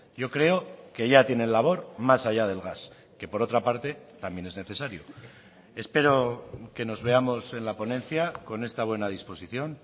yo creo que ya tienen labor más allá del gas que por otra parte también es necesario espero que nos veamos en la ponencia con esta buena disposición